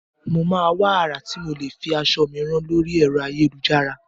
Mo máa wá àrà tí mo lè fi aṣọ mi rán lóri ẹ̀rọ ayélujára.